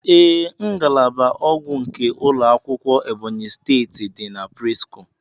Ee, ngalaba ogwu nke ulọ akwụkwọ Ebonyi steeti di na presco.